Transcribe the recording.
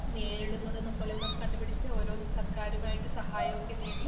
നേരിടുന്നതൊക്കെയെന്ന് കണ്ടുപിടിച്ച്‌ ഓരോന്ന് സർക്കാരുമായിട്ട് സഹായമൊക്കെ നേടി